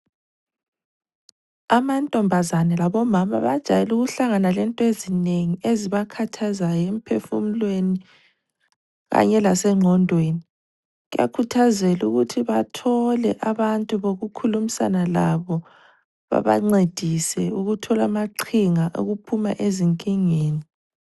Amantombazane labomama bajayele ukuhlangana lento ezinengi ezibakhathazayo emphefumulweni kanye lasengqondweni. Kuyakhuthazelwa ukuthi bathole abantu bokukhulumisana labo babancedise ukuthola amaqhinga okuphuma ezinkingeni.